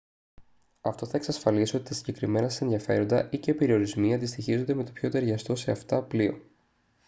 αυτό θα εξασφαλίσει ότι τα συγκεκριμένα σας ενδιαφέροντα ή/και περιορισμοί αντιστοιχίζονται με το πιο ταιριαστό σε αυτά πλοίο